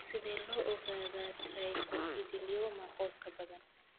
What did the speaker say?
Sidee loo ogaadaa trichoepithelioma qoyska badan?